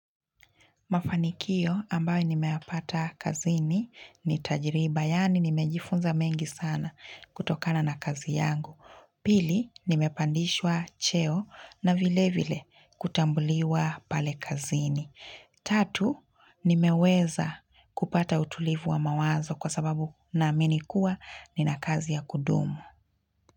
Mafanikio ambayo nimeyapata kazini ni tajiriba, yani nimejifunza mengi sana kutokana na kazi yangu. Pili, nimepandishwa cheo na vile vile kutambuliwa pale kazini. Tatu, nimeweza kupata utulivu wa mawazo kwa sababu naamini kuwa nina kazi ya kudumu.